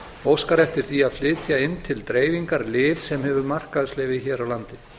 óskar eftir því að flytja inn til dreifingar lyf sem hefur markaðsleyfi hér á landi